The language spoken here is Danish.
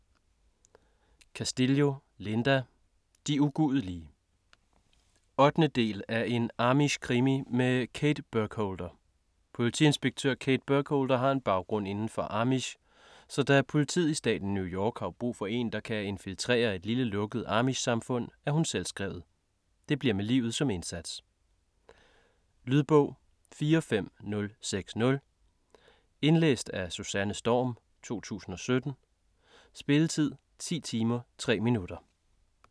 Castillo, Linda: De ugudelige 8. del af En Amishkrimi med Kate Burkholder. Politiinspektør Kate Burkholder har en baggrund inden for amish, så da politiet i staten New York har brug for en, der kan infiltrere et lille lukket amishsamfund, er hun selvskrevet. Det bliver med livet som indsats. Lydbog 45060 Indlæst af Susanne Storm, 2017. Spilletid: 10 timer, 3 minutter.